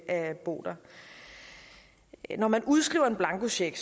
at bo der når man udskriver en blankocheck